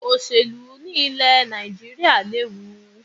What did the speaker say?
Òṣèlú ni ilè Nàìjíríà léwu